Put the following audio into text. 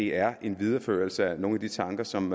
er en videreførelse af nogle af de tanker som